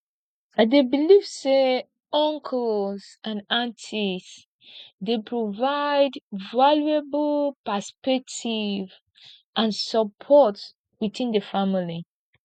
i dey believe say uncles and aunties dey provide valuable perspective and support within the family